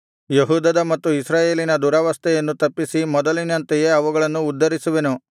ಯೆಹೂದದ ಮತ್ತು ಇಸ್ರಾಯೇಲಿನ ದುರವಸ್ಥೆಯನ್ನು ತಪ್ಪಿಸಿ ಮೊದಲಿನಂತೆಯೇ ಅವುಗಳನ್ನು ಉದ್ಧರಿಸುವೆನು